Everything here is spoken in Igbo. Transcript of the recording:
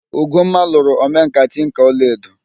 Ugomma lụrụ omenkà tinka ọla edo